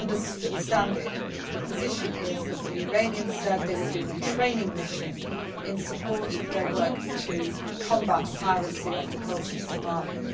ship. As I understand it, the position is that the Iranians said they were doing a training mission in support of their work to combat piracy off the coast